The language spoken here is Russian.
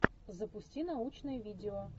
запусти научное видео